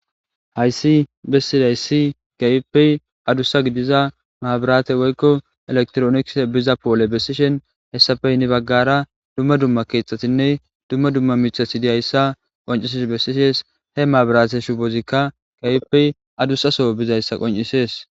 hayssi bessidaysi keehippe adussa gidiza maabirate woykko elektrooniks biza poole bessishen hessafey ni baggara dumma dumma keexxatinne dumma dumma michasidiyayssa qoncises bessishees he maabirate shubozikka gaypey adusa so bizayssa qoncisees